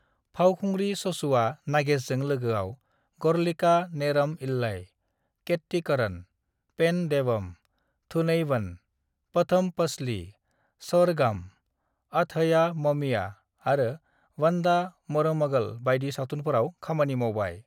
"फावखुंग्रि सचूआ नागेशजों लोगोआव 'गढ़लिका नेरम इल्लई', 'केट्टीकरण', 'पेन देवम', 'थुनैवन', 'पथम पसली', 'सोरगाम', 'अतहया ममिया' आरो 'वंदा मरूमगल' बायदि सावथुनफोराव खामानि मावबाय।"